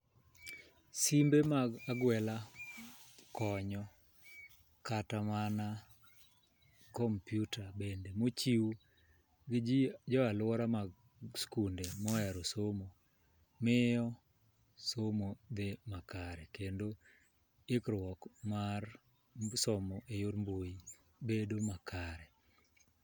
Simbe mag agwela konyo kata mana kompiuta bende michiwo ne jii jo aluora mag skunde mohero somo miyo somo dhi makare kendo ikruok mar somo e yor mbui bedo makare.